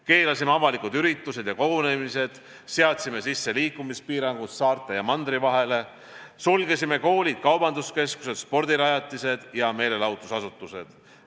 Keelasime avalikud üritused ja kogunemised, seadsime sisse liikumispiirangud saarte ja mandri vahel, sulgesime koolid, kaubanduskeskused, spordirajatised ja meelelahutusasutused.